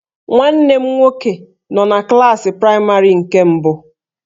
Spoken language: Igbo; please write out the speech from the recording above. Nwanne m nwoke nọ na klaasị praịmarị nke mbụ